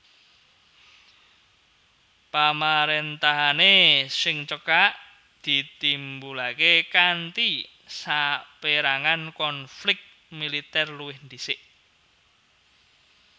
Pamaréntahané sing cekak ditimbulaké kanthi sapérangan konflik militèr luwih dhisik